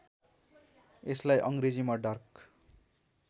यसलाई अङ्ग्रेजीमा डार्क